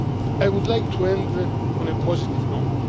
I would like to end on a positive note.